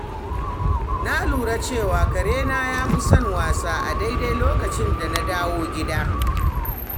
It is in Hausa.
Na lura cewa karena ya fi son wasa a daidai lokacin da na dawo gida.